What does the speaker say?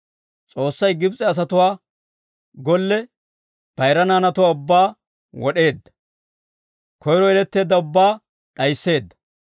S'oossay Gibs'e asatuwaa golle bayira naanatuwaa ubbaa wod'eedda; koyiro yeletteedda ubbaa d'ayisseedda.